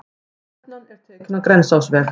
Stefnan er tekin á Grensásveg.